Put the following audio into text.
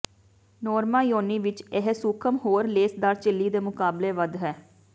ਨੋਰਮਾ ਯੋਨੀ ਵਿੱਚ ਇਹ ਸੂਖਮ ਹੋਰ ਲੇਸਦਾਰ ਝਿੱਲੀ ਦੇ ਮੁਕਾਬਲੇ ਵੱਧ ਹੈ